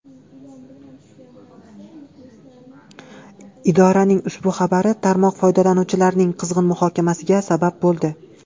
Idoraning ushbu xabari tarmoq foydalanuvchilarining qizg‘in muhokamasiga sabab bo‘ldi.